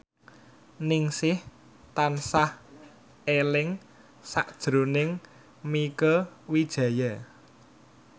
Ningsih tansah eling sakjroning Mieke Wijaya